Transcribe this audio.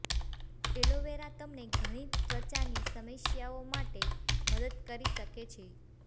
aloe vera તમને ઘણી ત્વચાની સમસ્યાઓ માટે મદદ કરી શકે છે